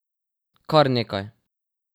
Kar nekaj!